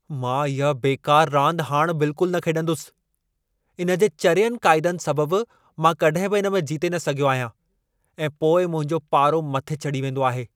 मां इहा बेकार रांदि हाणि बिल्कुलु न खेॾंदुसि। इन्हे जे चरियनि क़ाइदनि सबब मां कॾहिं बि इन में जीते न सघियो आहियां ऐं पोइ मुंहिंजो पारो मथे चढ़ी वेंदो आहे।